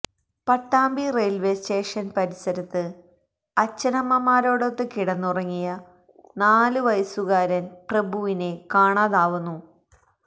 Pattambi railway station പരിസരത്ത് അച്ഛനമ്മമാരോടൊത്ത് കിടന്നുറങ്ങിയ നാലുവയസ്സുകാരൻ പ്രഭുവിനെ കാണാതാവുന്നു